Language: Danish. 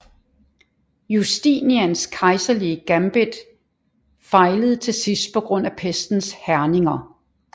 Justinians kejserlige gambit fejlede til sidst på grund af pestens hærgninger